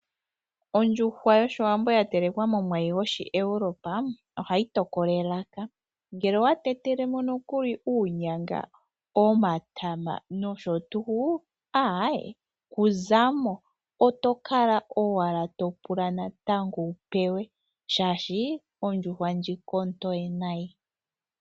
Ondjuhwa yoshiwambo yatelekwa momwayi gwoshiEurope ohayi tokola elaka. Ngele owa tetelemo nokuli uunyamga nomatama aaye kuzamo, oto kala ashike topula natango wupewe oshoka ondjuhwa ndjika ontoye nayi.